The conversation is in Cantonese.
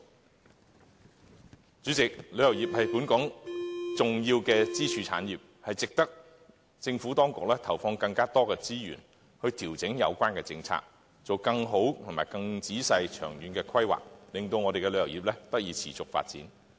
代理主席，旅遊業是本港重要的支柱產業，值得政府當局投放更多資源以調整有關政策，作更好及更仔細的長遠規劃，令本港旅遊業得以持續發展。